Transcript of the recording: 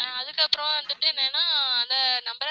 ஆஹ் அதுக்கு அப்ரோ வந்திட்டு என்னென்னா அந்த number